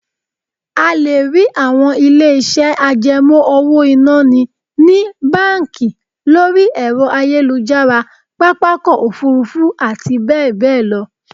A lè rí àwọn ilé-iṣẹ́ àjẹmọ́ owó-ìná ni ní, báńkì, lọ́rí ẹ̀rọ ayélujára, pápákọ̀ òfuurufú àti bẹ́ẹ̀ bẹ́ẹ̀ lọ